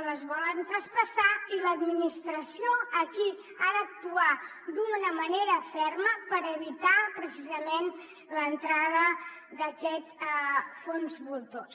o les volen traspassar i l’administració aquí ha d’actuar d’una manera ferma per evitar precisament l’entrada d’aquests fons voltors